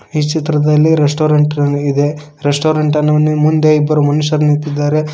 ಈ ಚಿತ್ರದಲ್ಲಿ ರೆಸ್ಟೊರೆಂಟ್ ನ್ ಇದೆ ರೆಸ್ಟೊರೆಂಟ್ ನೀ ಮುಂದೆ ಇಬ್ಬರು ಮನುಷ್ಯರು ನಿಂತಿದ್ದಾರೆ.